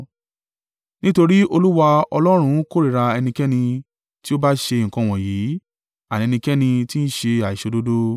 Nítorí Olúwa Ọlọ́run kórìíra ẹnikẹ́ni tí ó bá ṣe nǹkan wọ̀nyí, àní ẹnikẹ́ni tí ń ṣe àìṣòdodo.